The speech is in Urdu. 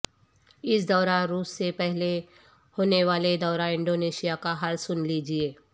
اس دورہ روس سے پہلے ہونے والے دورہ انڈونیشیا کا حال سن لیجئے